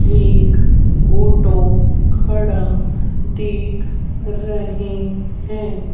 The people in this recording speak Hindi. एक ऑटो खड़ा दिख रही है।